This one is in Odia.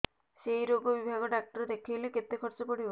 ସେଇ ରୋଗ ବିଭାଗ ଡ଼ାକ୍ତର ଦେଖେଇଲେ କେତେ ଖର୍ଚ୍ଚ ପଡିବ